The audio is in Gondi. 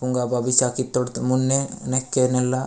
ओंगा बाबी चाकी तोड़त मुन्ने नेकेे नेला --